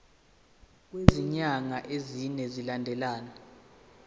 kwezinyanga ezine zilandelana